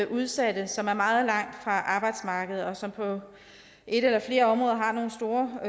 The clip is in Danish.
udsatte som er meget langt fra arbejdsmarkedet og som på et eller flere områder har nogle store